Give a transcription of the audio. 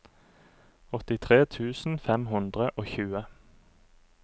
åttitre tusen fem hundre og tjue